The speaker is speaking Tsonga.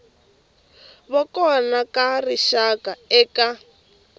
va kona ka rixaka eka